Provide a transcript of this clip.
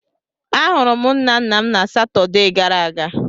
A hụrụ m nna nna m na Satọdee gara aga.